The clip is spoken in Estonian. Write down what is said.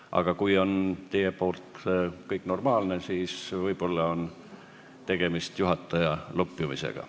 Aga kui teie arvates on kõik normaalne, siis võib-olla on tegemist juhataja veresoonte lupjumisega.